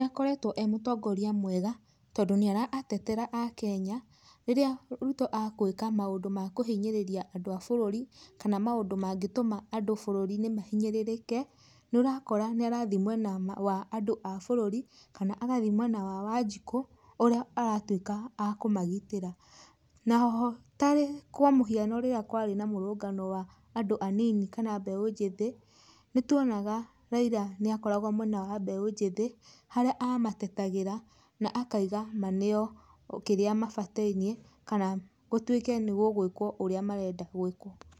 Nĩ akoretwo e mũtongoria mwega, nĩ aratetera akenya. Rĩrĩa Ruto agĩka maũndũ ma kũhinyĩrĩria andũ a bũrũri kana maũndũ mangĩtuma andũ bũrũriinĩ mahinyĩrĩrĩke, nĩ ũrakora nĩ arathiĩ mwena wa andũ a bũrũri kana agathiĩ mwena wa wanjikũ ũrĩa aratuĩka akũmagitĩra naho tarĩ kwa mũhiano rĩrĩa kwarĩ na mũrũrũngano wa andũ anini kana mbeũ njĩthĩ, nĩ tuonaga Raila nĩ akoragwo mwena wa mbeũ njĩthĩ harĩa amatetagira na akoiga maneo okĩrĩa mabataire, kana gũtuike nĩ gũgũĩkwo ũrĩa marenda gwĩkwo.